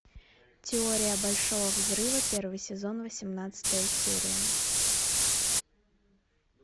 теория большого взрыва первый сезон восемнадцатая серия